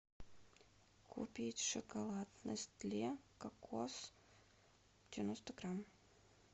купить шоколад нестле кокос девяносто грамм